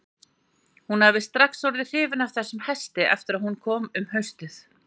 Hún hafði strax orðið hrifin af þessum hesti eftir að hún kom um haustið.